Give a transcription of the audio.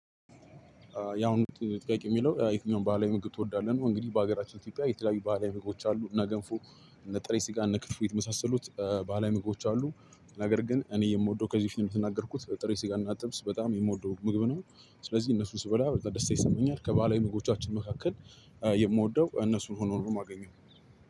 የአሁኑ ጥያቄ የሚለው የትኛውን ባህላዊ ምግብ ትወዳለህ ነው? እንግዲህ በሀገራችን ኢትዮጵያ የተለያዩ ባህላዊ ምግቦች አሉ። እና ገንፎ እነ ጥሬ ስጋ እነ ክትፎ የመሳሰሉት ባህላዊ ምግቦች አሉ። ነገር ግን እኔ የምወደው ከዚህ በፊት እንደተናገርኩት ጥሬ ስጋ እና ጥብስ በጣም የምወደው ምግብ ነው ስለዚህ እነሱን ስበላ ደስታ ይሰማኛል። ከባህላዊ ምግቦቻችን መካከል ነገር ግን እኔ የምወደው ከዚህ በፊት የምትናገርኩት ጥሩ ስጋ ጥብስ በጣም የምወደው ምግብ ነው። ስለዚህ እነሱ ስበላ ደስታ ይሰማኛል ከባለሙያ ምግቦቻችን መካከል